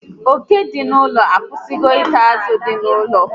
Oke dị n'ụlọ a akwụsịgo ita azụ dị n'ụlọ